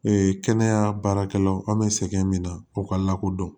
kɛnɛya baarakɛlaw an bɛ sɛgɛn min na o ka lakodɔn